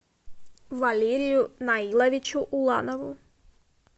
валерию наиловичу уланову